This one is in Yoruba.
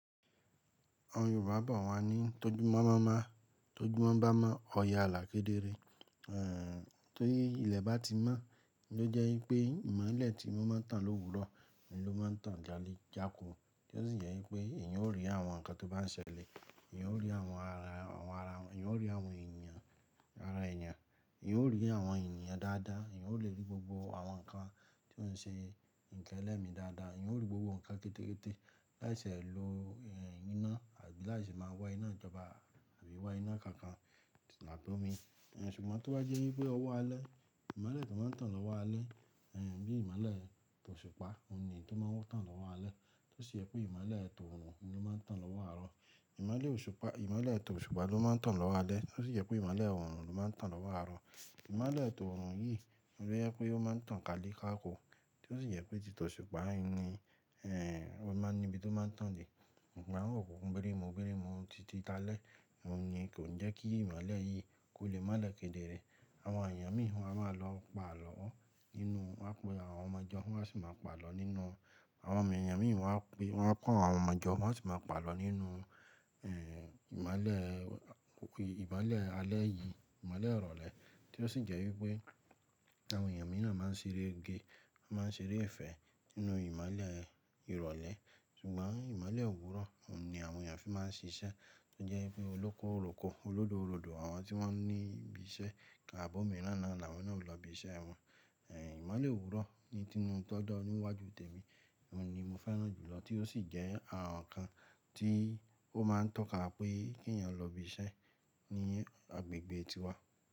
Àwọn Yorùbá bọ̀ wá ní tójú mọ́ má má, tójú mọ́ bá mọ́, ọ̀ye alà kedere. Eh, ti ilẹ̀ bá ti mọ́, ló jẹ́ wípé ìmọ̀lẹ̀ tí mo máa ń tàn lówurọ̀, òun ló máa ń tàn jále jáko. Tí ó sì jẹ́ wípé eniyan ó rí àwọn ǹkan tó bá ń ṣẹlẹ̀, eniyan ó rí àwọn ara, àwọn ara wọn, eniyan ó rí àwọn ènìyàn, ara ènìyàn, eniyan ó rí àwọn ènìyàn dáadáa, eniyan ó le rí gbogbo àwọn ǹkan tí ó ń ṣe nílẹ̀ mi dáadáa, eniyan ó rí gbogbo ǹkan rekéte láìṣe lo, eh, iná àbí láìṣe máa wá iná ìjọba àbí wá iná kankan làtọ́mi Ẹ̀ ṣùgbọ́n tó bá jẹ́ wípé ọwọ́ alẹ́, ìmọ̀lẹ̀ tó máa ń tàn lọ́wọ́ alẹ́, eh, bíi ìmọ̀lẹ̀ tòṣùpá, òun ni tó máa ń tàn lọ́wọ́ alẹ́. Tí ó sì jẹ́ pé ìmọ̀lẹ̀ t'ọ̀rùn ló máa ń tàn lọ́wọ́ àárọ̀. Ìmọ̀lẹ̀ òṣùpá, ìmọ̀lẹ̀ t'òṣùpá ló máa ń tàn lọ́wọ́ alẹ́, tí ó sì jẹ́ pé ìmọ̀lẹ̀ t'orùn ló máa ń tàn lọ́wọ́ àárọ̀. Ìmọ̀lẹ̀ t'orùn yìí ló jẹ́ pé ó máa ń tàn kale káko, tí ó sì jẹ́ pé tì t'ọ̀ṣùpá ni, eh, ó máa ń ní ibi tó máa ń tàn dé. Okunkun birimubirimu tìtitálẹ́, òun ni kò ń jẹ́ kí ìmọ̀lẹ̀ yìí kó le málẹ̀ kedere. Àwọn èèyàn mìíràn máa lọ pàlọ́ nínú, wọ́n pè àwọn ọmọ jọ, wọ́n sì máa pàlọ́ nínú. Àwọn ènìyàn mìíràn wá pé, wọ́n ko àwọn ọmọ jọ, wọ́n sì máa pàlọ́ nínú, ìmọ̀lẹ̀, òkun, ìmọ̀lẹ̀ alẹ́ yìí, ìmọ̀lẹ̀ ìrọ̀lẹ́. Tí ó sì jẹ́ wípé àwọn èèyàn mìíràn máa ń ṣeré ge, máa ń ṣeré ìfẹ́ nínú ìmọ̀lẹ̀ ìrọ̀lẹ́. Ṣùgbọ́n ìmọ̀lẹ̀ òwúrọ̀, òun ni àwọn èèyàn fi máa ń ṣiṣẹ́. Ó jẹ́ wípé olóko oròko, olódo olódo, àwọn tí wọ́n ní ibi iṣẹ́, tabi omíràn náà ni àwọn náà ó lọ ibi iṣẹ́ wọn, ìmọ̀lẹ̀ òwúrọ̀ ni tí inú tó dọ́ níwájú tèmi, òun ni mo fẹ́ràn jùlọ tí ó sì jẹ́ àwọn ǹkan tí ó máa ń tọ́ka pé kí èèyàn lọ ibi iṣẹ́ ní agbègbè tiwa.